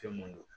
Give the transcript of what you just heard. Fɛn mun don